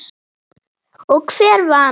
Og hver vann?